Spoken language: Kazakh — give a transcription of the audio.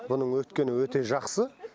бұның өткені өте жақсы